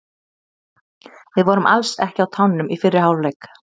VIð vorum alls ekki á tánum í fyrri hálfleik.